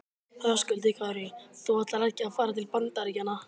Höskuldur Kári: Þú ætlar ekki að fara til Bandaríkjanna?